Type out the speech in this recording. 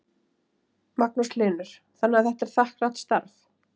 Magnús Hlynur: Þannig að þetta er þakklátt starf?